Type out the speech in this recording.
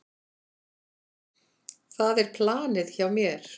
Það er planið hjá mér.